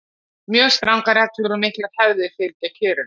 mjög strangar reglur og miklar hefðir fylgja kjörinu